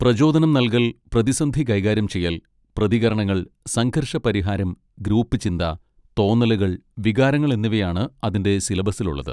പ്രചോദനം നൽകൽ, പ്രതിസന്ധി കൈകാര്യം ചെയ്യൽ, പ്രതികരണങ്ങൾ, സംഘർഷ പരിഹാരം, ഗ്രൂപ്പ് ചിന്ത, തോന്നലുകൾ, വികാരങ്ങൾ എന്നിവയാണ് അതിൻ്റെ സിലബസിലുള്ളത്.